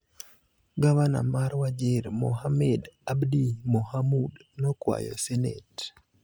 Gavana mar Wajir, Mohamed Abdi Mohamud, nokwayo Senet